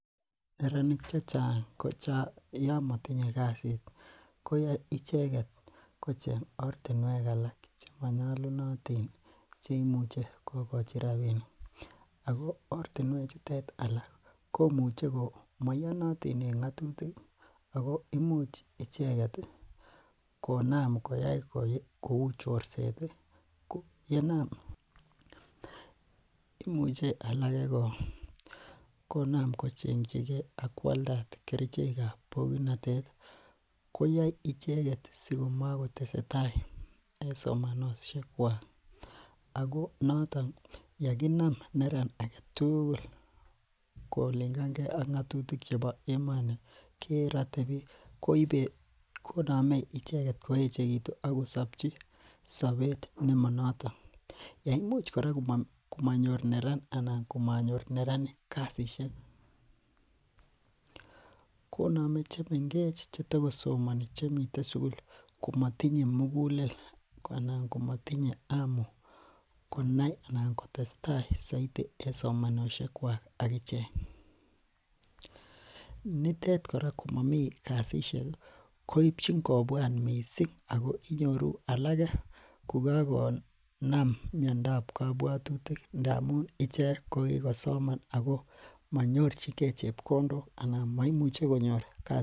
Neranik chechang ko yomatinye kasit ih , ko icheket kocheng'e ortinuek alak chemanyalunotin asikosich rabinik. Ako ortinuek chuto alak ko maiyonotin en ng'atutik ih , ako imuche konam icheket koyai konam kouu chorset ih ko ye naam, imuche alake ko kocheng'chige akoaldad kerichek kab pokitnotet ih , koyae icheket simakotesetai en somanosiek kuak. Ako yeginam neran agetugul ko kolingan ge ak ng'atutik ih cheba emoni kerate bik. Koname icheket koechekitu akosobchi Nemo noton yeimuch kora koma nyor neranik kasishek koname chemengech chetoko somani komatinye mugulel anan komatinye amu konai anan kotesetai saiti en somanosiek kuak. Akichek. Nitet kora Mami kasisiek ih keibchin kobuat missing ako inyoru alake ko kakonam miandab kabuatutikamun ichek ko kikosoman ako manyorchike chebkondok ak baisionik boisionik.